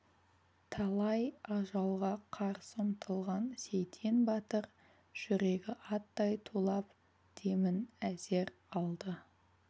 талай ажалға қарсы ұмтылған сейтен батыр жүрегі аттай тулап демін әзер алды